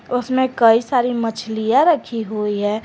उसमें कई सारी मछलियां रखी हुई है।